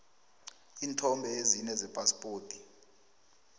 iinthombe ezine zephaspoti